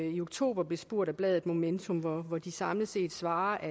i oktober blev spurgt af bladetmomentum hvor de samlet set svarede